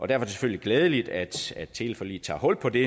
det selvfølgelig glædeligt at teleforliget tager hul på det